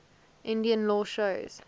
indian law shows